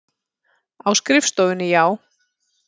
Á skrifstofunni, já.